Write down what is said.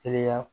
Teliya